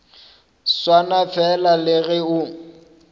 swana fela le ge o